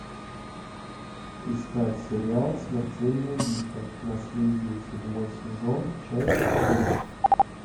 искать сериал смертельные битвы наследие седьмой сезон часть три